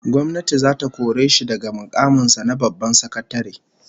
Gwamnati zata kore shi daga mukamin sa na babban sakatare